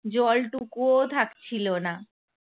জরটুকুও থাকছিল না ।